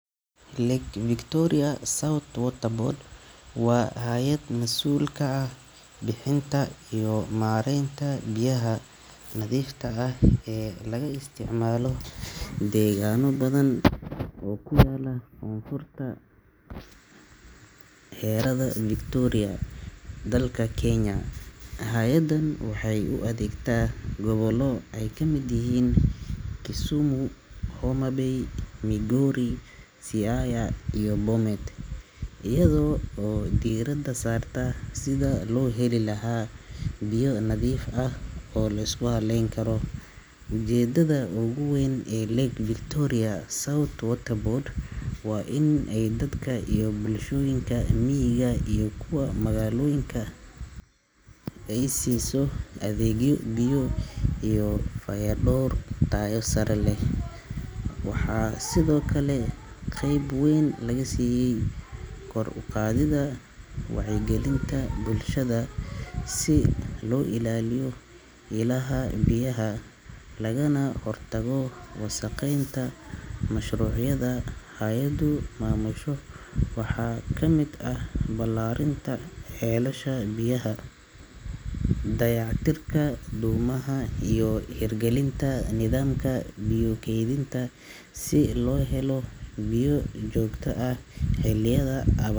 Lake Victoria South Water Board waa hay’ad mas’uul ka ah bixinta iyo maaraynta biyaha nadiifta ah ee laga isticmaalo deegaanno badan oo ku yaalla koonfurta harada Victoria ee dalka Kenya. Hay’addan waxay u adeegtaa gobollo ay ka mid yihiin Kisumu, Homa Bay, Migori, Siaya, iyo Bomet, iyada oo diiradda saarta sidii loo heli lahaa biyo nadiif ah oo la isku halleyn karo. Ujeedada ugu weyn ee Lake Victoria South Water Board waa in ay dadka iyo bulshooyinka miyiga iyo magaalooyinka ay siiso adeegyo biyo iyo fayadhowr tayo sare leh. Waxaa sidoo kale qeyb weyn laga siiyay kor u qaadidda wacyigelinta bulshada si loo ilaaliyo ilaha biyaha lagana hortago wasakheynta. Mashruucyada hay’addu maamusho waxaa ka mid ah ballaarinta ceelasha biyaha, dayactirka dhuumaha, iyo hirgelinta nidaamka biyo kaydinta si loo helo biyo joogto ah xilliyada abaa.